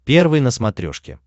первый на смотрешке